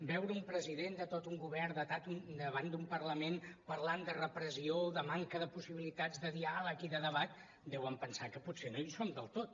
veure un president de tot un govern davant d’un parlament parlant de repressió de manca de possibilitats de diàleg i de debat deuen pensar que potser no hi som del tot